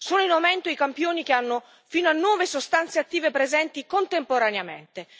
Sono in aumento i campioni che hanno fino a nove sostanze attive presenti contemporaneamente.